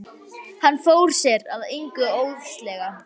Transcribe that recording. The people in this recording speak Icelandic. Hann fór sér að engu óðslega.